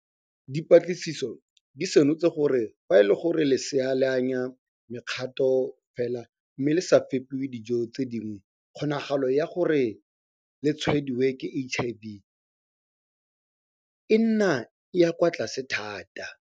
Dipatlisiso di senotse gore fa e le gore lesea le anya mekgato fela mme le sa fepiwe dijo tse dingwe kgonagalo ya gore le tshwaediwe ke HIV e nna e e kwa tlase thata.